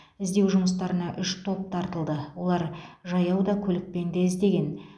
іздеу жұмыстарына үш топ тартылды олар жаяу да көлікпен де іздеген